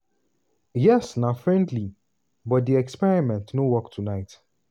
yes na friendly but di experiment no work tonight.